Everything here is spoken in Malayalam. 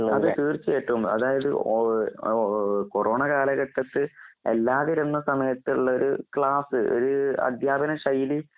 അതേ തീർച്ചയായിട്ടും. അതായത് ഒഹ് ഓഹ് കൊറോണകാലഘട്ടത്ത് എല്ലാതിരുന്ന സമയത്തൊള്ളോരു ക്ലാസ്സ് ഏഹ് അധ്യാപനശൈലി